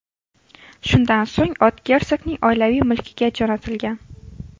Shundan so‘ng ot gersogning oilaviy mulkiga jo‘natilgan.